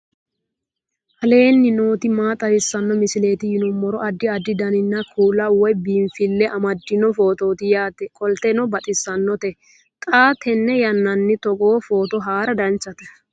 aleenni nooti maa xawisanno misileeti yinummoro addi addi dananna kuula woy biinfille amaddino footooti yaate qoltenno baxissannote xa tenne yannanni togoo footo haara danchate